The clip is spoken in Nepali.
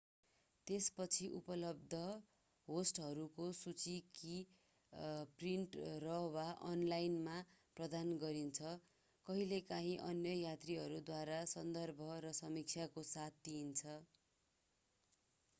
त्यसपछि उपलब्ध होस्टहरूको सूची कि प्रिन्ट र/ वा अनलाइनमा प्रदान गरिन्छ कहिँलेकाहीँ अन्य यात्रीहरूद्वारा सन्दर्भ र समीक्षाको साथ दिइन्छ।